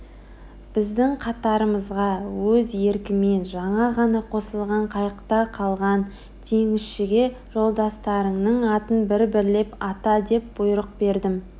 біздің қатарымызға өз еркімен жаңа ғана қосылған қайықта қалған теңізшіге жолдастарыңның атын бір-бірлеп ата деп бұйрық бердім